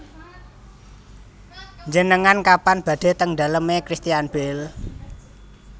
Njenengan kapan badhe teng dalem e Christian Bale